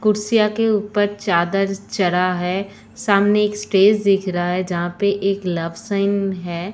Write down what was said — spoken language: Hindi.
कुर्सियां कुर्सियों के ऊपर चादर चरा है। सामने एक स्टेज दिख रहा है। जहां पे एक लव साइन है।